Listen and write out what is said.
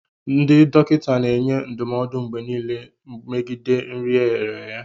Ndị dọkịta na-enye ndụmọdụ mgbe niile megide nri e ghere eghe